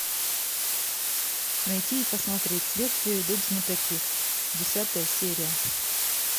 найти и посмотреть следствие ведут знатоки десятая серия